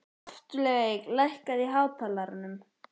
Loftveig, lækkaðu í hátalaranum.